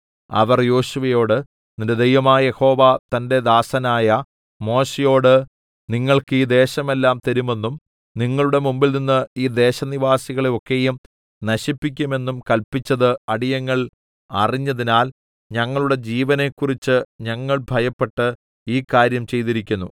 അവർ യോശുവയോട് നിന്റെ ദൈവമായ യഹോവ തന്റെ ദാസനായ മോശെയോട് നിങ്ങൾക്ക് ഈ ദേശമെല്ലാം തരുമെന്നും നിങ്ങളുടെ മുമ്പിൽനിന്ന് ഈ ദേശനിവാസികളെ ഒക്കെയും നശിപ്പിക്കുമെന്നും കല്പിച്ചത് അടിയങ്ങൾ അറിഞ്ഞതിനാൽ ഞങ്ങളുടെ ജീവനെക്കുറിച്ച് ഞങ്ങൾ ഭയപ്പെട്ട് ഈ കാര്യം ചെയ്തിരിക്കുന്നു